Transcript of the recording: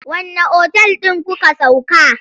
Wanne otal ɗin kuka sauka?